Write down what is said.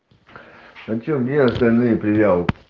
а че где остальные предъявы